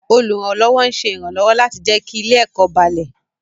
Olùrànlọ́wọ́ ń ṣe ìrànlọ́wọ́ láti jẹ́ kí ilé-ẹ̀kọ́ balẹ̀.